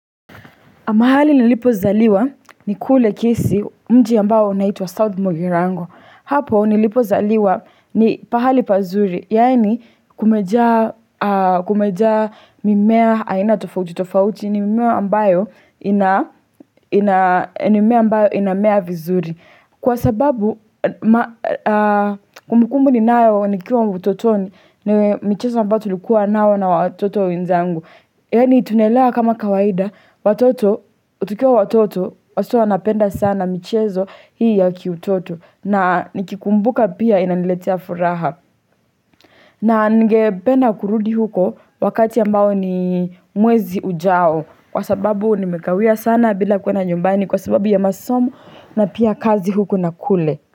Mahali nilipo zaliwa ni kule kisii mji ambao unaitwa wa South Mogirango. Hapo nilipo zaliwa ni pahali pazuri. Yani kumejaa mimea aina tofauti tofauti ni mimea ambayo inamea vizuri. Kwa sababu kumbukumbu ni nayo ni kiwa utotoni ni michezo ambao tulikuwa nao na watoto wenzangu. Yani tunaelewa kama kawaida, watoto, tukiwa watoto, watoto wanapenda sana michezo hii ya kiutoto na nikikumbuka pia inaniletea furaha na ningependa kurudi huko wakati ambao ni mwezi ujao Kwa sababu nimekawia sana bila kuenda nyumbani kwa sababu ya masomo na pia kazi huko na kule.